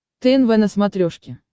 тнв на смотрешке